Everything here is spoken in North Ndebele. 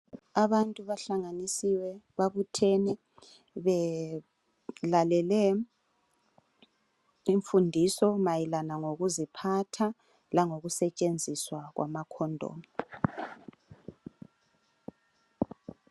Abantu bahlanganisiwe. Babuthene belalele imfundiso mayelana ngokuziphatha langokusetshenziswa kwamakondomu.